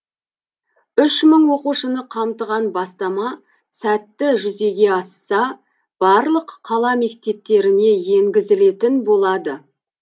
үш мың оқушыны қамтыған бастама сәтті жүзеге асса барлық қала мектептеріне енгізілетін болады